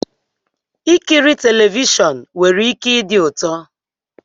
Ikiri telivishọn nwere ike ịdi ụtọ